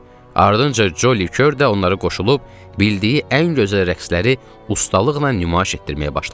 Ardınca Coli Kör də onlara qoşulub bildiyi ən gözəl rəqsləri ustalıqla nümayiş etdirməyə başladı.